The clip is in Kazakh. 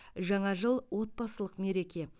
жаңа жыл отбасылық мереке